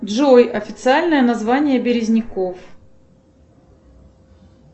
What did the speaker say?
джой официальное название березняков